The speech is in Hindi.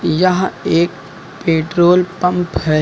यहां एक पेट्रोल पंप है।